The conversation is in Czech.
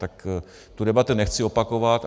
Tak tu debatu nechci opakovat.